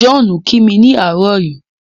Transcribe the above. John ki mi ni àárọ̀ yìí.